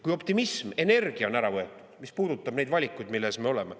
Kui optimism ja energia on ära võetud, siis mis puudutab neid valikuid, milles ees me oleme …